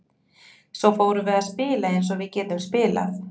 Svo fórum við að spila eins og við getum spilað.